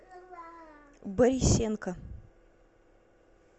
борисенко